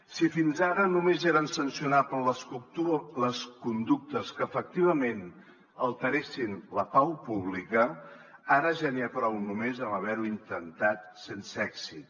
si fins ara només eren sancionables les conductes que efectivament alteressin la pau pública ara ja n’hi ha prou només amb haver ho intentat sense èxit